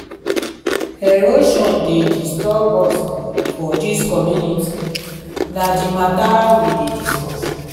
erosion dey disturb us for dis community na di mata we dey discuss.